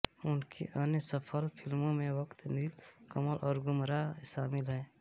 उनकी अन्य सफल फ़िल्मों में वक़्त नील कमल और गुमराह शामिल हैं